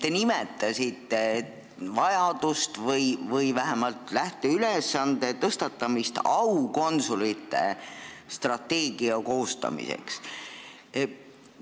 Te nimetasite vajadust vähemalt tõstatada aukonsulite strateegia koostamise lähteülesanne.